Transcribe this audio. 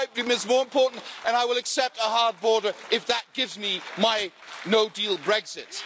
My pipe dream is more important and I will accept a hard border if that gives me my no-deal Brexit'.